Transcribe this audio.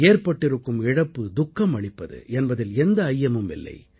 ஏற்பட்டிருக்கும் இழப்பு துக்கம் அளிப்பது என்பதில் எந்த ஐயமும் இல்லை